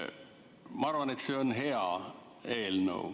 Ma arvan, et see on hea eelnõu.